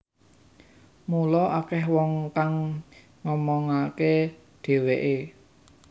Mula akeh wong kang ngomongake dheweke